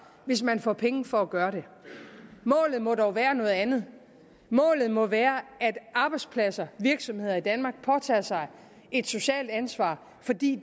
hvis man får penge for at gøre det målet må dog være et andet målet må være at arbejdspladser virksomheder i danmark påtager sig et socialt ansvar fordi